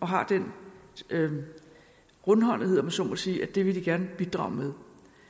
har den rundhåndethed om jeg så må sige at det vil de gerne bidrage med